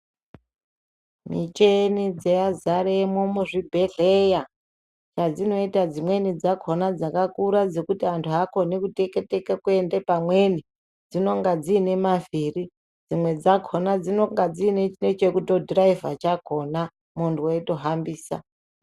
Micheni dzazaremwo muzvibhehlera chadzinoita dzimweni dzakona dzakakura dzekuti anthu akoni kuteka teka kuende pamweni dziinenge dzine mavhiri, dzimwe dzakona dzinonga dzine chekutodhiraivha chakona munthu weitohambisa.